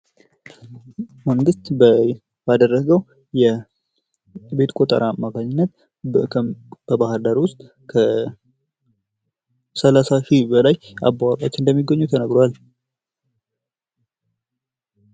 መንግስት ባደረገዉ የቤት ቆጠራ አማካኝነት በባህርዳር ዉስጥ ከሠላሳ ሺህ በላይ አባዉራዎች እንደሚገኙ ተነግሯል።